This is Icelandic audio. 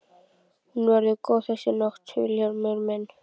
Hún verður góð þessi nótt Vilhjálmur minn.